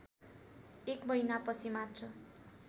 एक महिनापछि मात्र